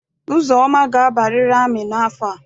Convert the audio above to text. Uzoma ga-abariri amị n'afọ a!